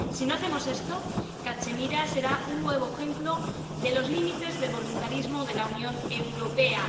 Si no hacemos esto, Cachemira será un nuevo ejemplo de los límites del voluntarismo de la Unión Europea.